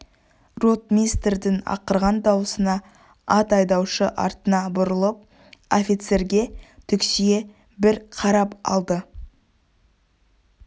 ротмистрдің ақырған дауысына ат айдаушы артына бұрылып офицерге түксие бір қарап алды